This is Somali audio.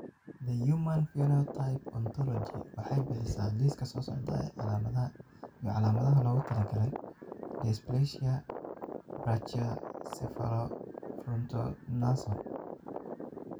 The Human Phenotype Ontology waxay bixisaa liiska soo socda ee calaamadaha iyo calaamadaha loogu talagalay dysplasia Brachycephalofrontonasal.